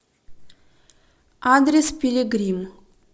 адрес пилигрим